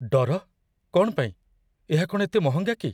ଡର? କ'ଣ ପାଇଁ? ଏହା କ'ଣ ଏତେ ମହଙ୍ଗା କି?